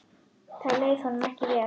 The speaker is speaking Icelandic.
Þar leið honum ekki vel.